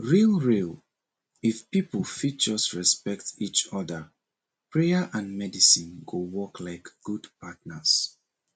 real real if people fit just respect each other prayer and medicine go work like good partners